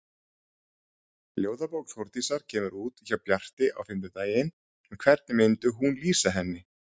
Ljóðabók Þórdísar kemur út hjá Bjarti á fimmtudaginn en hvernig myndi hún lýsa henni?